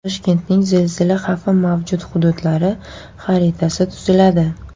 Toshkentning zilzila xavfi mavjud hududlari xaritasi tuziladi.